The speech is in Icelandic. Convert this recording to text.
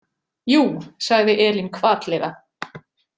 Jú, sagði Elín hvatlega.